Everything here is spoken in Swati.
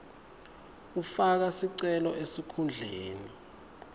ufaka sicelo esikhundleni